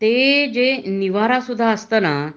ते जे निवारा सुद्ध असत ना